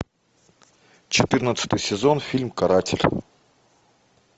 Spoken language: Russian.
четырнадцатый сезон фильм каратель